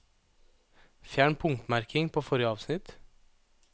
Fjern punktmerking på forrige avsnitt